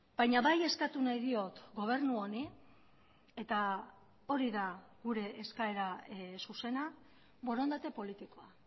baina bai eskatu nahi diot gobernu honi eta hori da gure eskaera zuzena borondate politikoa